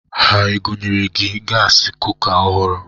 Ha egonyere gị gasị kuka ọhụrụ?